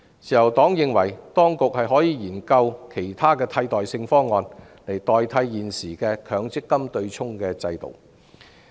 自由黨認為，當局可以研究其他替代方案，來取代現時的強積金對沖制度。